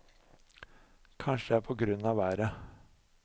Kanskje det er på grunn av været?